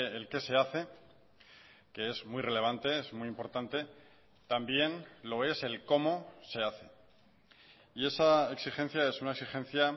el qué se hace que es muy relevante es muy importante también lo es el cómo se hace y esa exigencia es una exigencia